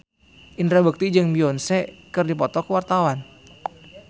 Indra Bekti jeung Beyonce keur dipoto ku wartawan